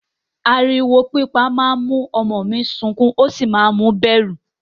Ariwo pípa máa ń mú ọmọ mi sukún ó sì máa ń mu bẹ̀rù.